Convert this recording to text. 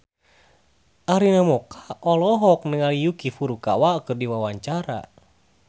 Arina Mocca olohok ningali Yuki Furukawa keur diwawancara